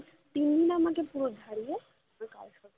তিন দিন আমাকে পুরো ঝরিয়ে ওই কালসর্প